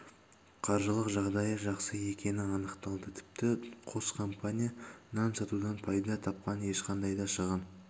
қаржылық жағдайы жақсы екені анықталды тіпті қос компания нан сатудан пайда тапқан ешқандай да шығын